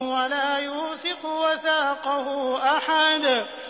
وَلَا يُوثِقُ وَثَاقَهُ أَحَدٌ